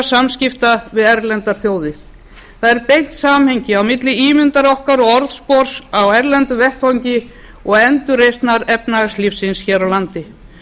samskipta við erlendar þjóðir það er beint samhengi á milli ímyndar okkar og orðspors á erlendum vettvangi og endurreisnar efnahagslífsins hér á landi